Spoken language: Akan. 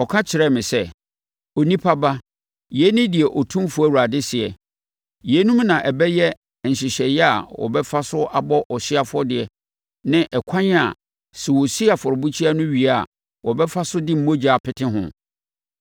Ɔka kyerɛɛ me sɛ, “Onipa ba, yei ne deɛ Otumfoɔ Awurade seɛ: Yeinom na ɛbɛyɛ nhyehyɛeɛ a wɔbɛfa so abɔ ɔhyeɛ afɔdeɛ ne ɛkwan a, sɛ wɔsi afɔrebukyia no wie a wɔbɛfa so de mogya apete ho: